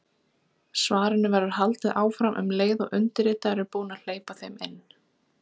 Svarinu verður haldið áfram um leið og undirritaður er búinn að hleypa þeim inn.